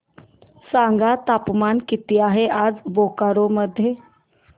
सांगा तापमान किती आहे आज बोकारो मध्ये